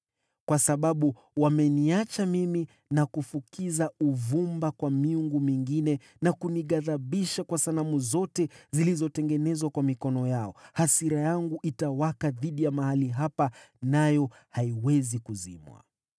Kwa sababu wameniacha mimi na kufukiza uvumba kwa miungu mingine, na kunighadhibisha kwa sanamu zote zilizotengenezwa kwa mikono yao, hasira yangu itawaka dhidi ya mahali hapa, wala haitatulizwa.’